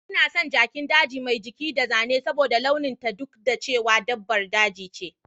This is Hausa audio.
Ina son jakin daji mai jiki da zane saboda launin ta duk da cewa dabbar daji ce